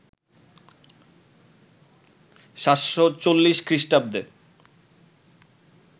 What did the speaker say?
৭৪০ খ্রিস্টাব্দে